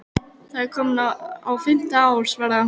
Það er komið á fimmta ár, svaraði hún.